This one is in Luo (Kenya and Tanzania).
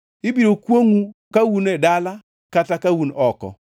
Ibiro kwongʼou ka un e dala kata ka un oko.